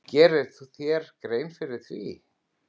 Gerirðu þér grein fyrir því?